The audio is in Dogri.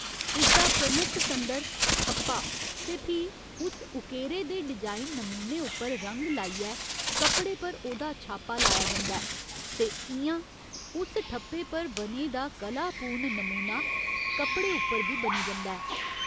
इस दा प्रमुख संदर 'ठप्पा' ते फ्ही उस उकेरे दे डिजाइन नमूने उप्पर रंग लाइयै कपड़े पर ओह्दा छापा लाया जंदा ऐ ते इ'यां उस ठप्पे पर बने दा कलापूर्ण नमूना कपड़े उप्पर बी बनी जंदा ऐ।